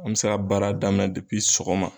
An be se ka baara daminɛ depi sɔgɔma